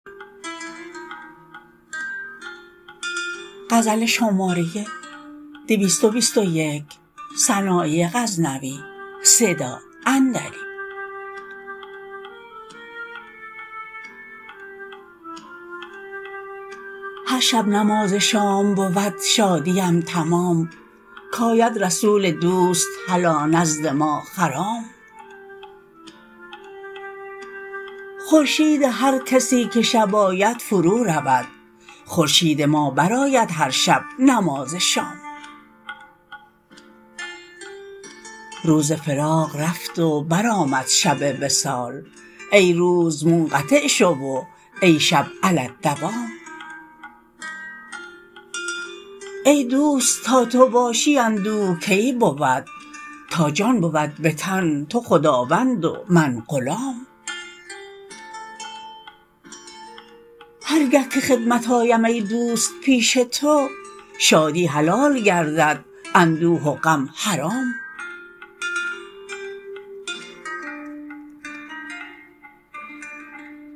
هر شب نماز شام بود شادیم تمام کاید رسول دوست هلا نزد ما خرام خورشید هر کسی که شب آید فرو رود خورشید ما برآید هر شب نماز شام روز فراق رفت و برآمد شب وصال ای روز منقطع شو و ای شب علی الدوام ای دوست تا تو باشی اندوه کی بود تا جان بود به تن تو خداوند و من غلام هر گه که خدمت آیم ای دوست پیش تو شادی حلال گردد اندوه و غم حرام